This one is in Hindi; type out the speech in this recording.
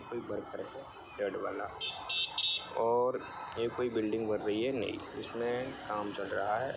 रेड वाला और एक और बिल्डिंग बन रही है ने जिसमे काम चल रहा है।